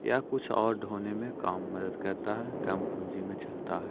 यहाँ पे कुछ ओर ढ़ोने मे काम मद्दत करता हे। काम पूँजी में चलता है।